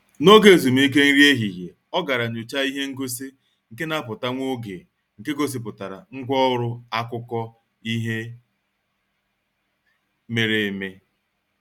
N'oge ezumike nri ehihie, ọ gara nyọchaa ihe ngosi nke na-apụta nwa oge nke gosipụtara ngwa ọrụ akụkọ ihe mere eme.